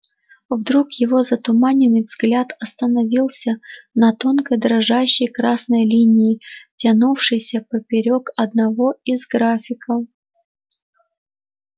вдруг его затуманенный взгляд остановился на тонкой дрожащей красной линии тянувшейся поперёк одного из графиков